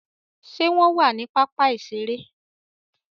Ṣe wọn wà sí pápá iṣere?